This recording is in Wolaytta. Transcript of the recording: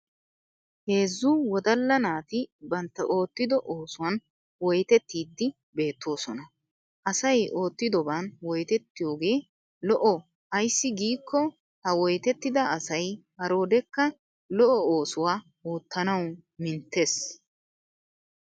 Heezzu wodalla naati bantta oottido oosuwan woytettiiddi beettoosona. Asay oottidoban wottiyoogee lo'o ayssi giikko ha woytettida asay haroodekka lo'o oosuwa oottanawu minutes.